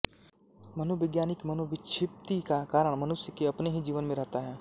मनोवैज्ञानिक मनोविक्षिप्ति का कारण मनुष्य के अपने ही जीवन में रहता है